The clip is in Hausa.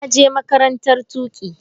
Na je makarantar tuƙi.